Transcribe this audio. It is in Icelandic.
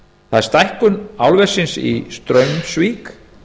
það er stækkun álversins í straumsvík